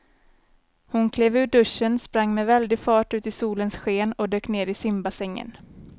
Hon klev ur duschen, sprang med väldig fart ut i solens sken och dök ner i simbassängen.